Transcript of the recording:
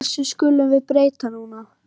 Þessu skulum við breyta núna.